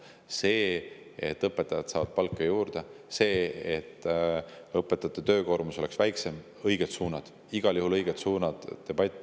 See, et õpetajad saavad palka juurde, see, et õpetajate töökoormus oleks väiksem – need on õiged suunad, igal juhul õiged suunad.